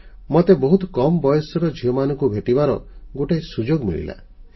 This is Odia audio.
ମୋତେ ବହୁତ କମ୍ ବୟସର ଝିଅମାନଙ୍କୁ ଭେଟିବାର ଗୋଟିଏ ସୁଯୋଗ ମିଳିଲା